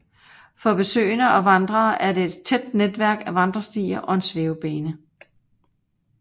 For besøgende og vandrere er der et tæt netværk af vandrestier og en svævebane